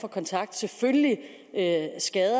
sige andet